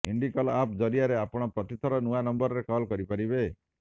Indicall app ଜରିଆରେ ଆପଣ ପ୍ରତିଥର ନୂଆ ନମ୍ବରରେ କଲ କରିପାରିବେ